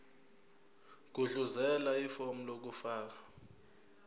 gudluzela ifomu lokufaka